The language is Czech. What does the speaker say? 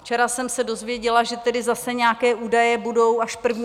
Včera jsem se dozvěděla, že tedy zase nějaké údaje budou až 1. června.